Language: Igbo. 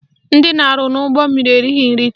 Ndị na-arụ n'ụgbọmmiri erighi nri taa